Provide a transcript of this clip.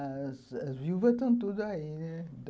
As as viúvas estão todas aí, né?